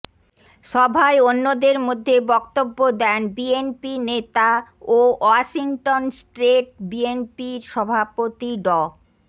সভায় অন্যদের মধ্যে বক্তব্য দেন বিএনপি নেতা ও ওয়াশিংটন স্ট্রেট বিএনপির সভাপতি ড